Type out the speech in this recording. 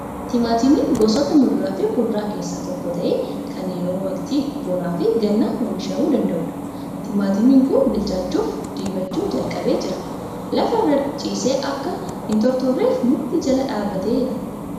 Timaatimiinn gosoota muduraa fi kuduraa keessaa tokko ta'ee, kan yeroo waqtii bonaa fi gannaa oomishamuu danda'udha. Timaatimiin kun bilchaachuuf diimachuu jalqabee jira. Lafa irra ciisee akka hin tortorreef mukti jala dhaabbateera.